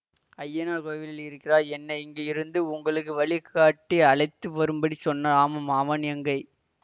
அய்யனார் கோவிலில் இருக்கிறா என்னை இங்க இருந்து உங்களுக்கு வழிகாட்டி அழைத்து வரும்படி சொன்னார் ஆமாம் அவன் எங்கே